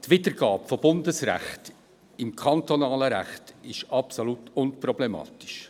Die Wiedergabe von Bundesrecht im kantonalen Recht ist absolut unproblematisch.